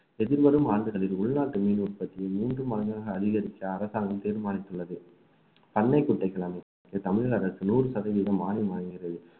எதிர்வரும் ஆண்டுகளில் உள்நாட்டு மீன் உற்பத்தியை மீண்டும் அதிகரிக்க அரசாங்கம் தீர்மானித்துள்ளது பண்ணைக் குட்டைகள் அமைக்க தமிழக அரசு நூறு சதவீதம் மானியம் வழங்கியது